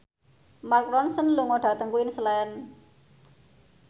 Mark Ronson lunga dhateng Queensland